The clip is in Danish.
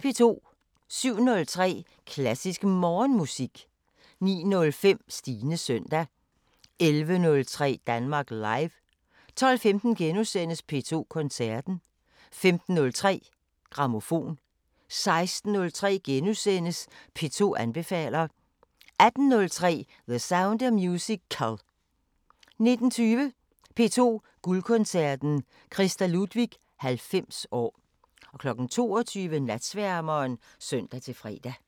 07:03: Klassisk Morgenmusik 09:05: Stines søndag 11:03: Danmark Live 12:15: P2 Koncerten * 15:03: Grammofon 16:03: P2 anbefaler * 18:03: The Sound of Musical 19:20: P2 Guldkoncerten: Christa Ludwig 90 år 22:00: Natsværmeren (søn-fre)